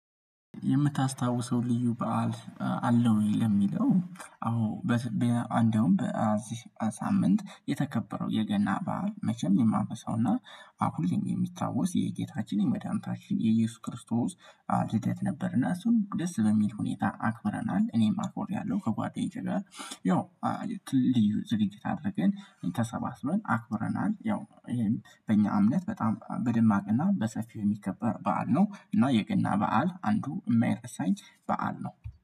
የምታስታውሰው ልዩ በዓል አለህ ወይ? ለሚለው አዎ በትግቢያ እንደውም በዚህ ሳምንት የተከበረው የገና በዓል መቼም የማበሳውና አሁን የሚታወስ የጌታችን የመድኃኒታችን የኢየሱስ ክርስቶስ በዓል ልደት ነበርና እሱን ደስ በሚል ሁኔታ አክብረናል እኔም አክብሬያለሁ ከጓደኞቼ ጋር ያው ልዩ ዝግጅት አድርገን ተሰባስበን አክብረናል ያው ይሄን በእኛ እምነት በጣም በደማቅና በሰፊው የሚከበር በዓል ነው እና የገና በዓል አንዱ የማይረሳኝ በዓል ነው